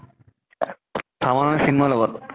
farm ত মানে চিন্ময়ীৰ লগত?